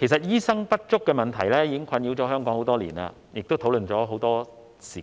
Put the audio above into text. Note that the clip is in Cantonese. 醫生人手不足的問題已經困擾香港多年，亦已討論多時，